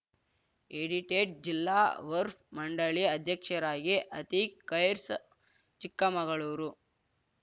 edited ಜಿಲ್ಲಾ ವರ್ಫ್ ಮಂಡಳಿ ಅಧ್ಯಕ್ಷರಾಗಿ ಅತೀಕ್‌ ಖೈರ್ಸ ಚಿಕ್ಕಮಗಳೂರು